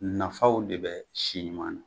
Nafaw de bɛ siɲuman na